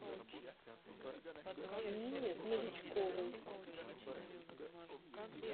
нине новичковой